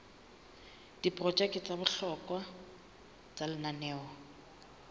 diprojeke tsa bohlokwa tsa lenaneo